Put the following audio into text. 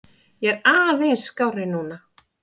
Ég er aðeins skárri núna.